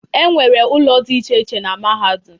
E nwere ụlọ dị iche iche na mahadum.